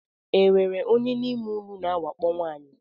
E nwere onye n’ime ụnụ na-awakpo nwaanyi?